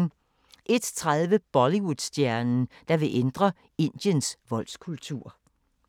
01:30: Bollywood-stjernen, der vil ændre Indiens voldskultur